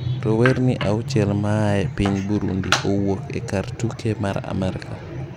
Rowerni auchiel maae epiny Burundi owuok e kar tuke mar Amerka